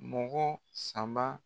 Mɔgɔ saba